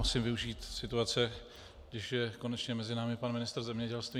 Musím využít situace, když je konečně mezi námi pan ministr zemědělství.